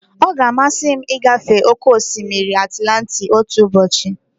Ọ ga-amasị m ịgafe oke osimiri Atilantiki otu ụbọchị.